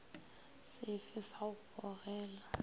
se fe sa go gogela